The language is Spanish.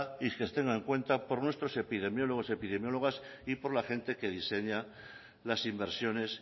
y que se tenga en cuenta por nuestros epidemiólogos y epidemiólogas y por la gente que diseña las inversiones